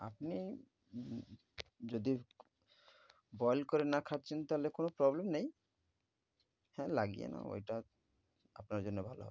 আপনি উম যদি boil করে না খাচ্ছেন তাহলে কোন problem নেই। হ্যাঁ লাগিয়ে নাও ঐটা আপনার জন্যে ভালো।